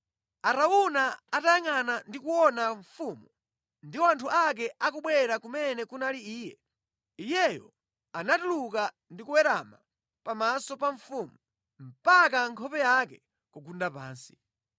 Arauna atayangʼana ndi kuona mfumu ndi anthu ake akubwera kumene kunali iye, iyeyo anatuluka ndi kuwerama pamaso pa mfumu mpaka nkhope yake kugunda pansi.